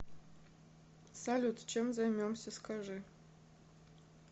салют чем займемся скажи